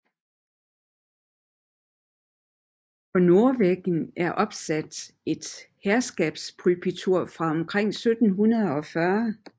På nordvæggen er opsat et herskabspulpitur fra omkring 1740